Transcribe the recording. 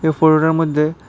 এই ফটোটার মধ্যে--